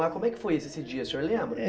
Mas como é que foi esse dia, o senhor lembra?